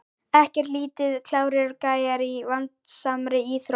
Ekkert lítið klárir gæjar í vandasamri íþrótt!